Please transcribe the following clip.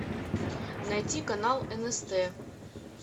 найти канал нст